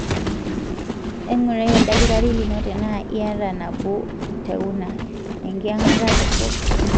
engurai oldakitari lino tena iyata nabo tekuna, enkyangata dorop.